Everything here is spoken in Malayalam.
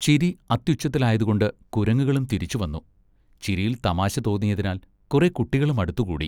ചിരി അത്യുച്ചത്തിലായതുകൊണ്ട് കുരങ്ങുകളും തിരിച്ചുവന്നു. ചിരിയിൽ തമാശ തോന്നിയതിനാൽ കുറെ കുട്ടികളും അടുത്തുകൂടി.